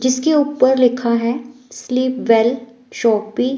जिसके ऊपर लिखा है स्लीपवेल शोपी --